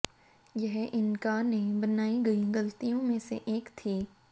यह इंका ने बनाई गई गलतियों में से एक थी